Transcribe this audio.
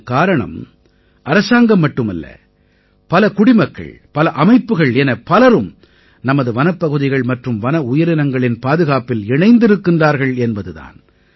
இதன் காரணம் அரசாங்கம் மட்டுமல்ல பல குடிமக்கள் பல அமைப்புகள் என பலரும் நமது வனப்பகுதிகள் மற்றும் வன உயிரினங்களின் பாதுகாப்பில் இணைந்திருக்கின்றார்கள் என்பது தான்